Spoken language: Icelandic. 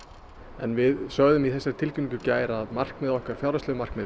en við sögðum í þessari tilkynningu í gær að markmið okkar fjárhagsleg markmið